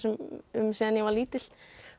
um síðan ég var lítil